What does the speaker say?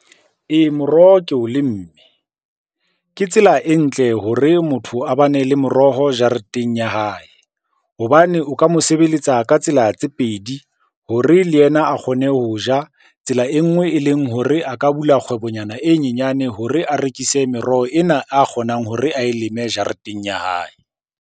Ee, moroho ke o lemme. Ke tsela e ntle hore motho a bane le moroho jareteng ya hae hobane o ka mo sebeletsa ka tsela tse pedi hore le yena a kgone ho ja. Tsela e nngwe e leng hore a ka bula kgwebo nyana e nyenyane hore a rekise meroho ena a kgonang hore ae leme jareteng ya hae.